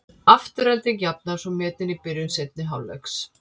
Afturelding jafnar svo metin í byrjun seinni hálfleiks.